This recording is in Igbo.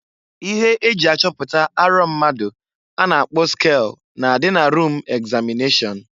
Ihe eji achọpụta arọ mmadụ a na-akpọ skel na-adị na rum egzamịneshọn.